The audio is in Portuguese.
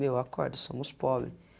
Meu, acorda, somos pobres.